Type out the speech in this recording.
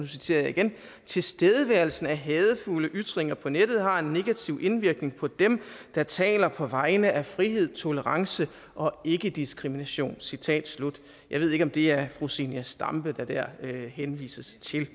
citerer jeg igen at tilstedeværelsen af hadefulde ytringer på nettet har en negativ indvirkning på dem der taler på vegne af frihed tolerance og ikkediskrimination citat slut jeg ved ikke om det er fru zenia stampe der dér henvises til